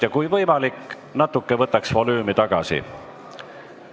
Ja kui võimalik, võtame natuke volüümi tagasi.